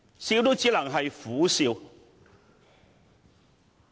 笑也只能是苦笑。